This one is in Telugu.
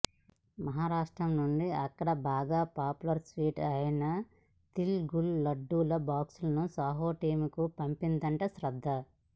మహారాష్ట్ర నుండి అక్కడ బాగా పాపులర్ స్వీట్ అయిన తిల్ గుల్ లడ్డూల బాక్సులను సాహో టీంకు పంపిందట శ్రద్ధ